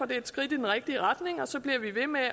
det er et skridt i den rigtige retning og så bliver vi ved med